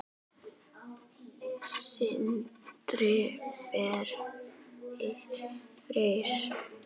Sindri Freyr.